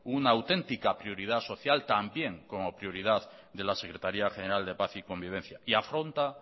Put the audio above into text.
una autentica prioridad social también como prioridad de la secretaría general de paz y convivencia y afronta